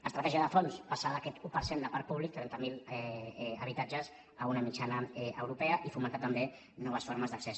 estratègia de fons passar d’aquest un per cent de parc públic trenta mil habitatges a una mitjana europea i fomentar també noves formes d’accés